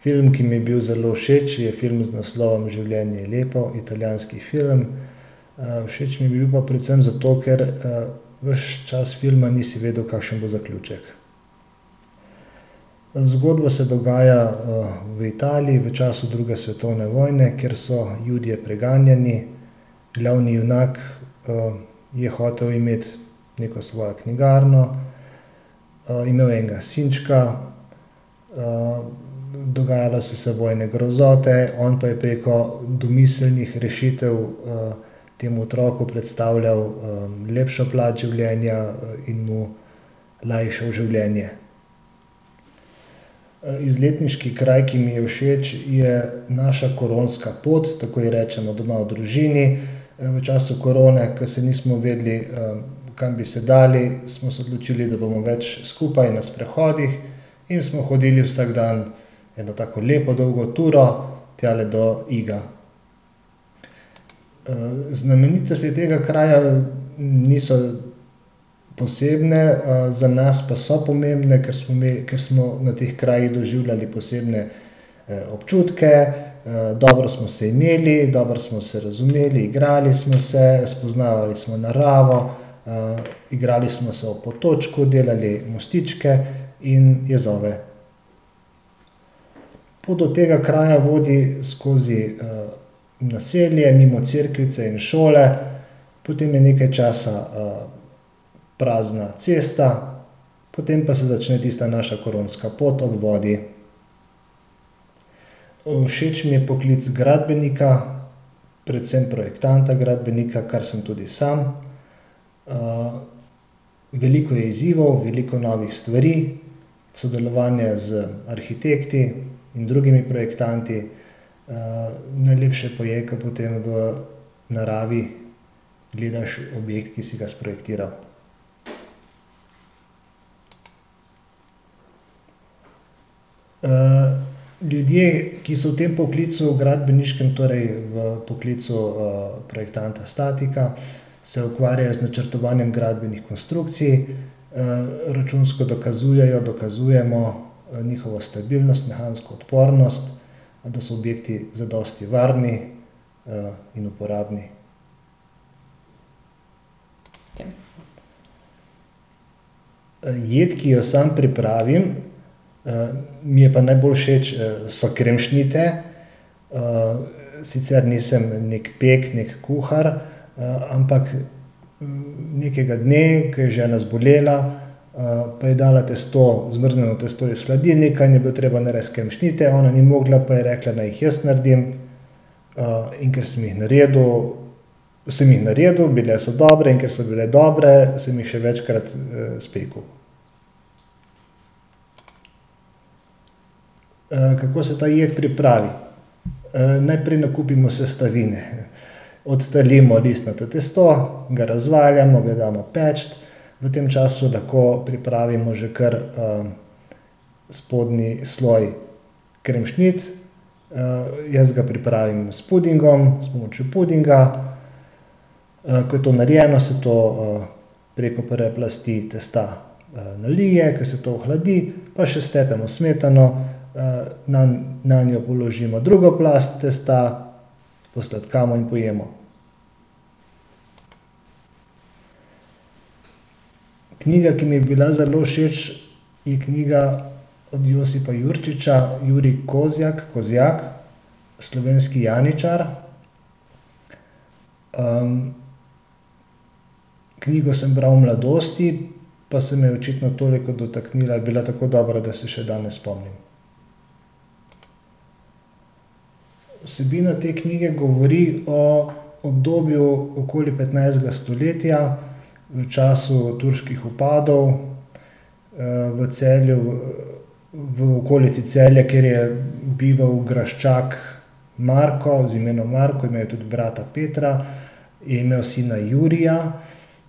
Film, ki mi je bil zelo všeč, je film z naslovom Življenje je lepo, italijanski film. všeč mi je bil pa predvsem zato, ker, ves čas filma nisi vedel, kakšen bo zaključek. Zgodba se dogaja, v Italiji, v času druge svetovne vojne, kjer so Judje preganjani. Glavni junak, je hotel imeti neko svojo knjigarno, imel je enega sinčka, dogajale so se vojne grozote, on pa je preko domiselnih rešitev, temu otroku predstavljal, lepšo plat življenja, in mu lajšal življenje. izletniški kraj, ki mi je všeč, je naša koronska pot. Tako ji rečemo doma v družini. v času korone, ke se nismo vedeli, kam bi se dali, smo se odločili, da bomo več skupaj, na sprehodih, in smo hodili vsak dan eno tako lepo, dolgo turo tjale do Iga. znamenitosti tega kraja niso posebne, za nas pa so pomembne, ker smo mi, ker smo na teh krajih doživljali posebne, občutke, dobro smo se imeli, dobro smo se razumeli, igrali smo se, spoznavali smo naravo, igrali smo se ob potočku, delali mostičke in jezove. Pot do tega kraja vodi skozi, naselje, mimo cerkvice in šole, potem je nekaj časa, prazna cesta, potem pa se začne tista naša koronska pot ob vodi. Všeč mi je poklic gradbenika, predvsem projektanta gradbenika, kar sem tudi sam. veliko je izzivov, veliko novih stvari, sodelovanja z arhitekti in drugimi projektanti, najlepše pa je, ke potem v naravi gledaš objekt, ki si ga sprojektiral. ljudje, ki so v tem poklical gradbeniškem, torej v poklicu, projektanta statika, se ukvarjajo z načrtovanjem gradbenih konstrukcij, računsko dokazujejo, dokazujemo, njihovo stabilnost, mehansko odpornost, da so objekti zadosti varni, in uporabni. jed, ki jo sam pripravim, mi je pa najbolj všeč, so kremšnite. sicer nisem neki pek, neki kuhar, ampak nekega dne, ke je žena zbolela, pa je dala testo, zmrznjeno testo iz hladilnika in je bilo treba narediti kremšnite. Ona ni mogla, pa je rekla, naj jih jaz naredim. in ker sem jih naredil, sem jih naredil, bile so dobre, in ker so bile dobre, sem jih še večkrat, spekel. kako se ta jed pripravi. najprej nakupimo sestavine. Odtalimo listnato tisto, ga razvaljamo, ga damo peči, v tem času lahko pripravimo že kar, spodnji sloj kremšnit. jaz ga pripravim s pudingom, s pomočjo pudinga. ko je to narejeno, se to, preko prve plasti testa, nalije. Ke se to ohladi, pa še stepemo smetano, nanjo položimo drugo plast testa, posladkamo in pojemo. Knjiga, ki mi je bila zelo všeč, je knjiga od Josipa Jurčiča Jurij Kozjak, Kozjak, Slovenski janičar. knjigo sem bral v mladosti, pa se me je očitno toliko dotaknila, je bila tako dobra, da se je še danes spomnim. Vsebina te knjige govori o obdobju okoli petnajstega stoletja v času turških vpadov, v Celju, v okolici Celja, kjer je bival graščak Marko, z imenom Marko, imel je tudi brata Petra in, sina Jurija.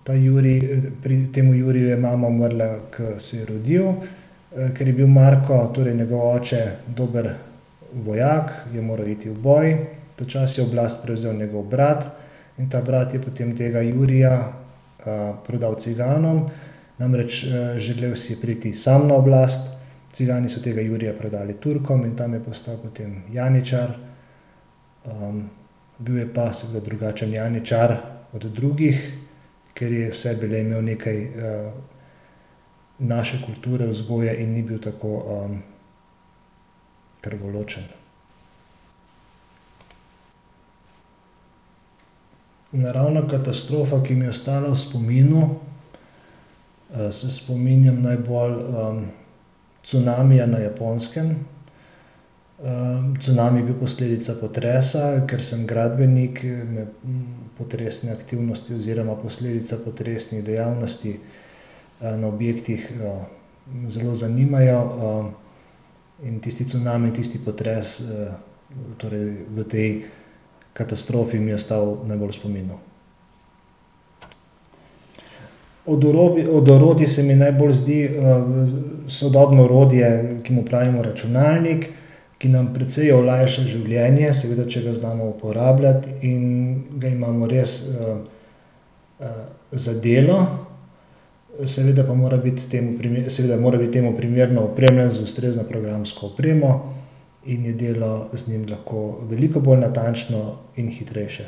Ta Jurij, temu Juriju je mama umrla, ke se je rodil. ker je bil Marko, torej njegov oče, dober vojak, je moral iti v boj, ta čas je oblast prevzel njegov brat. In ta brat je potem tega Jurija, prodal ciganom. Namreč, želel si je priti sam na oblast. Cigani so tega Jurija prodali Turkom in tam je postal potem janičar. bil je pa seveda drugačen janičar od drugih, ker je v sebi le imel nekaj, naše kulture, vzgoje in ni bil tako, krvoločen. Naravna katastrofa, ki mi je ostala v spominu, se spominjam najbolj, cunamija na Japonskem. cunami je bil posledica potresa. Kar sem gradbenik, me potresne aktivnosti oziroma posledica potresnih dejavnosti, na objektih, zelo zanimajo. in tisti cunami, tisti potres, torej v tej katastrofi mi je ostal najbolj v spominu. Od od orodij se mi najbolj zdi, sodobno orodje, ki mu pravimo računalnik, ki nam precej olajša življenje, seveda, če ga znamo uporabljati in ga imamo res, za delo. Seveda pa mora biti temu seveda mora biti temu primerno opremljen z ustrezno programsko opremo in je delo z njim lahko veliko bolj natančno in hitrejše.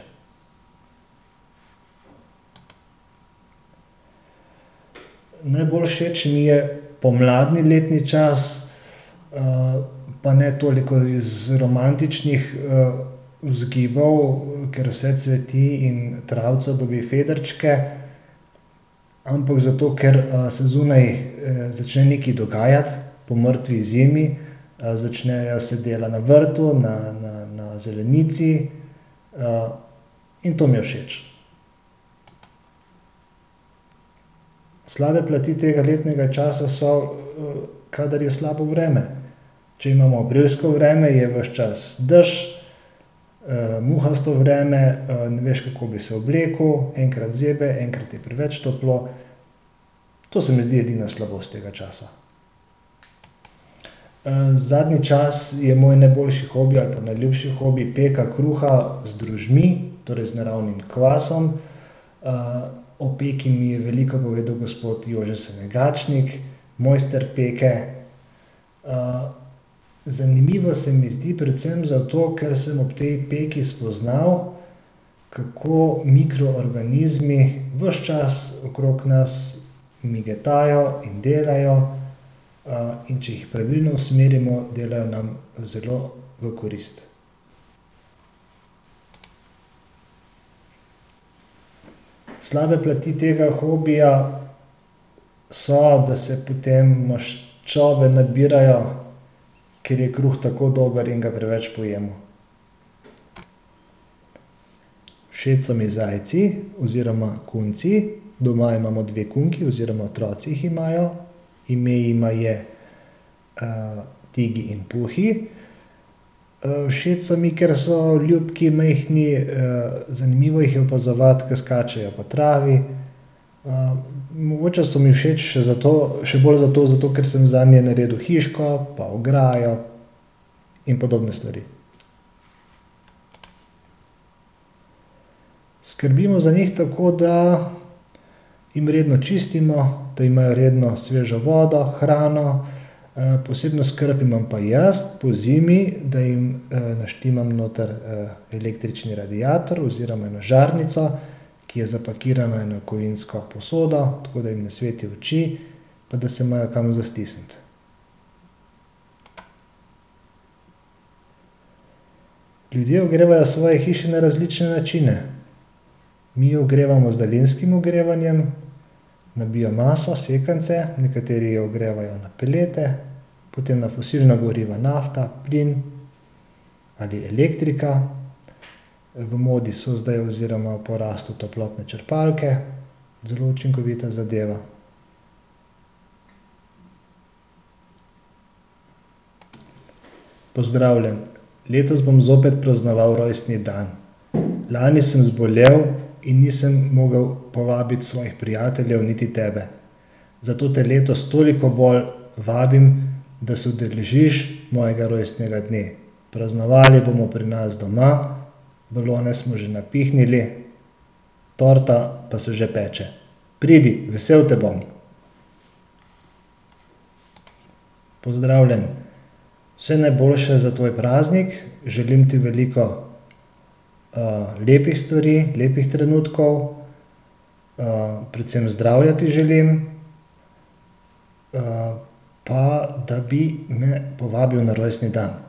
Najbolj všeč mi je pomladni letni čas, pa ne toliko iz romantičnih, vzgibov, ker vse cveti in travica dobi fedrčke, ampak zato ker, se zunaj, začne nekaj dogajati po mrtvi zimi. začnejo se dela na vrtu, na, na, na zelenici, in to mi je všeč. Slabe plati tega letnega časa so, kadar je slabo vreme. Če imamo aprilsko vreme, je ves čas dež, muhasto vreme, ne veš, kako bi se oblekel. Enkrat zebe, enkrat je preveč toplo. To se mi zdi edina slabost tega časa. zadnji čas je moj najboljši hobi ali pa najljubši hobi, peka kruha z drožmi, torej z naravnim kvasom. o peko mi je veliko povedal gospod [ime in priimek] , mojster peke. zanimivo se mi zdi predvsem zato, ker sem ob tej peki spoznal, kako mikroorganizmi ves čas okrog nas migetajo in delajo. in če jih pravilno usmerimo, delajo nam zelo v korist. Slabe plati tega hobija so, da se potem maščobe nabirajo, ker je kruh tako dober in ga preveč pojemo. Všeč so mi zajci oziroma kunci. Doma imamo dve kunki oziroma otroci jih imajo. Ime jima je, Tegi in Puhi. všeč so mi, ker so ljubki, majhni, zanimivo jih je opazovati, ke skačejo po travi. mogoče so mi všeč še zato, še bolj zato, zato ker sem zanje naredil hiško pa ograjo in podobne stvari. Skrbimo za njih tako, da jim redno čistimo, da imajo redno svežo vodo, hrano. posebno skrb imam pa jaz pozimi, da jim, naštimam noter, električni radiator oziroma eno žarnico, ki je zapakirana v eno kovinsko posodo, tako da jim ne sveti v oči pa da se imajo kam za stisniti. Ljudje ogrevajo svoje hiše na različne načine. Mi ogrevamo z daljinskim ogrevanjem na biomaso, sekance. Nekateri ogrevajo na pelete, potem na fosilna goriva, nafta, plin, ali elektrika. v modi so zdaj oziroma v porastu toplotne črpalke, zelo učinkovita zadeva. Pozdravljen. Letos bom zopet praznoval rojstni dan. Lani sem zbolel in nisem mogel povabiti svojih prijateljev, niti tebe. Zato te letos toliko bolj vabim, da se udeležiš mojega rojstnega dne. Praznovali bomo pri nas doma, balone smo že napihnili, torta pa se že peče. Pridi, vesel te bom. Pozdravljen. Vse najboljše za tvoj praznik. Želim ti veliko, lepih stvari, lepih trenutkov, predvsem ti želim zdravja. pa da bi me povabil na rojstni dan.